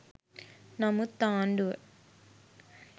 නමුත් ආණ්ඩුව